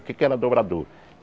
O que é que era dobrador?